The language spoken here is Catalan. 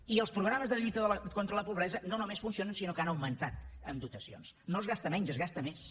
i els programes de lluita contra la pobresa no només funcionen sinó que han augmentat en dotacions no es gasta menys és gasta més